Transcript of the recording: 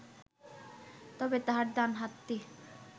তবে তাহার ডান হাতটি